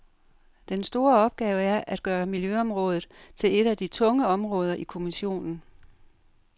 Den store opgave er at gøre miljøområdet til et af de tunge områder i kommissionen.